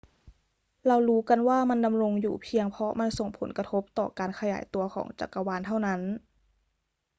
เรารู้กันว่ามันดำรงอยู่เพียงเพราะมันส่งผลกระทบต่อการขยายตัวของจักรวาลเท่านั้น